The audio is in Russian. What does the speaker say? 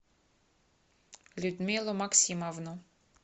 людмилу максимовну